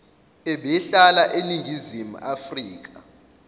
ebehlala eningizimu afrika